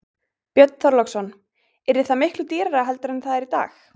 Björn Þorláksson: Yrði það miklu dýrara heldur en það er í dag?